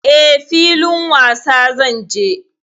E, filin wasa zan je.